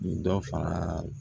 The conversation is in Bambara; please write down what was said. Dɔ fara